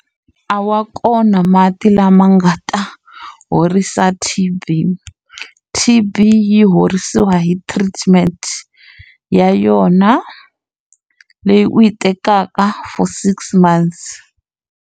A wa kona mati lama nga ta horisa T_B. T_B yi horisiwa hi treatment ya yona, leyi u yi tekaka for six months.